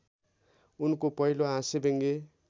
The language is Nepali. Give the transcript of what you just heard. उनको पहिलो हास्यव्यङ्ग्य